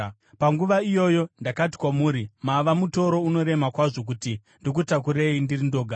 Panguva iyoyo ndakati kwamuri, “Mava mutoro unorema kwazvo kuti ndikutakurei ndiri ndoga.